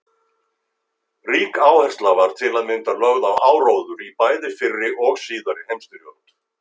Rík áhersla var til að mynda lögð á áróður í bæði fyrri og síðari heimsstyrjöld.